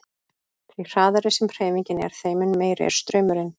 Því hraðari sem hreyfingin er þeim mun meiri er straumurinn.